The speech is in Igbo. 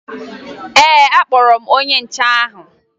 Ee, akpọrọ m onye nche ahụ